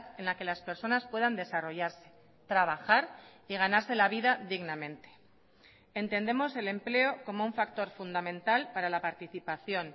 en la que las personas puedan desarrollarse trabajar y ganarse la vida dignamente entendemos el empleo como un factor fundamental para la participación